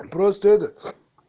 просто это